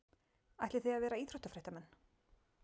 Ætlið þið að vera íþróttafréttamenn?